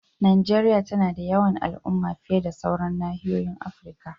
Najeriya tana da yawan al'umma fiye da sauran nahiyoyin Afirka.